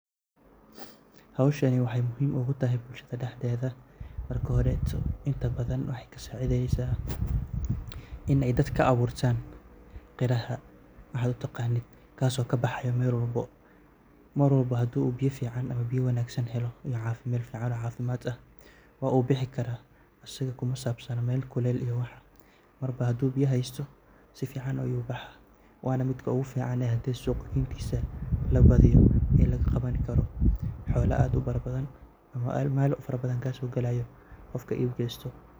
Howshani wexey muhiim ogutahay bulshda mark hore wexey kasacideysa in ey dadka aburtan qaraha kaso kabaxayo meel walbo. Mar walbo hadu biyo fican helo iyo meel fican oo cafimad leh wubixi karo asaga kumasabsana meel kuleel iyo waxa marba hadu biyo hesto sifican ayu ubaxa wana midka oguficane ee suqa geyntisa hadi labadiyo lagaqawani karo xoolo aad ubadan ama meel farabaddan kasogalayo qofka iib gesto.